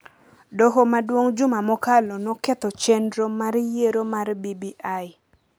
Doho Maduong’ juma mokalo noketho chenro mar yiero mar BBI